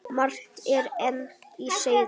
Margt er enn á seyði.